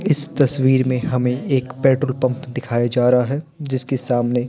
इस तस्वीर में हमें एक पेट्रोल पंप दिखाया जा रहा है जिसके सामने--